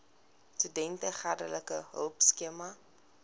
studente geldelike hulpskema